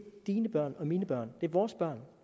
dine børn det er mine børn det er vores børn